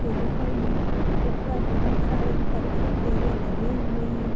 मेरे कॉलेज ऊपर बोहोत सारे कच्चे केले लगे हुए हैं।